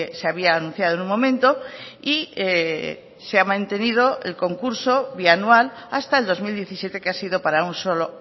se había anunciado en un momento y se ha mantenido el concurso bianual hasta el dos mil diecisiete que ha sido para un solo